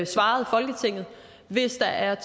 svarede folketinget hvis der er